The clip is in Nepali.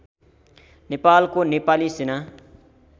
नेपालको नेपाली सेना